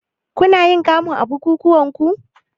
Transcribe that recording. Kunayin kamu a bukukuwanku?